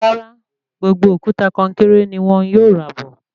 Rárá, gbogbo òkúta konkéré ní wọn yóò rà bọ̀